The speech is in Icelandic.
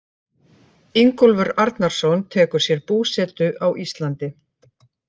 Ingólfur Arnarson tekur sér búsetu á Íslandi.